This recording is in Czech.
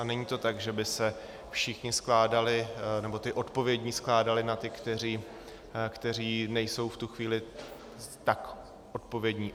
A není to tak, že by se všichni skládali nebo ti odpovědní skládali na ty, kteří nejsou v tu chvíli tak odpovědní.